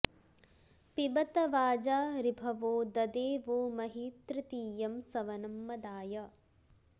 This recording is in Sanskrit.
पिब॑त वाजा ऋभवो द॒दे वो॒ महि॑ तृ॒तीयं॒ सव॑नं॒ मदा॑य